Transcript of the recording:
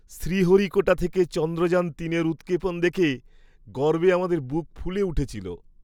শ্রীহরিকোটা থেকে চন্দ্রযান তিনের উৎক্ষেপণ দেখে গর্বে আমাদের বুক ফুলে উঠেছিল।